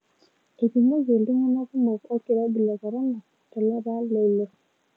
Eipimoki iltunangak kumok olkirobi le korona tolapa le ile.